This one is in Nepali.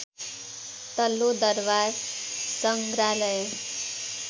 तल्लो दरवार सङ्ग्राहलय